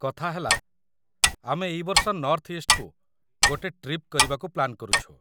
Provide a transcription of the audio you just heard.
କଥାହେଲା, ଆମେ ଏଇ ବର୍ଷ ନର୍ଥ ଇଷ୍ଟ୍‌କୁ ଗୋଟେ ଟ୍ରିପ୍ କରିବାକୁ ପ୍ଲାନ୍ କରୁଛୁ ।